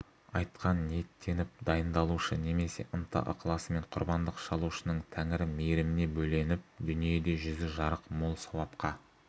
айтқа ниеттеніп дайындалушы немесе ынта-ықыласымен құрбандық шалушының тәңірі мейіріміне бөленіп дүниеде жүзі жарық мол сауапқа